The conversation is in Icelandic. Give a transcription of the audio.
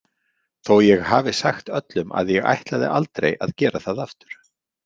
Þó ég hafi sagt öllum að ég ætlaði aldrei að gera það aftur